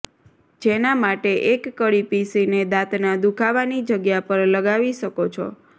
જેના માટે એક કળી પીસીને દાંતના દુખાવાની જગ્યા પર લગાવી શકો છો